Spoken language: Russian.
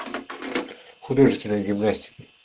художественная гимнастика